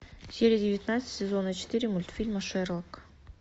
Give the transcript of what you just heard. серия девятнадцать сезона четыре мультфильма шерлок